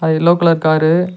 அது yellow colour car .